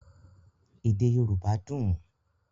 Èdè Yorùbá dùn